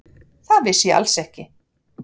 Það vissi ég alls ekki.